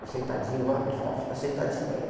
Eu sentadinho lá, porque ele falava, fica sentadinho aí.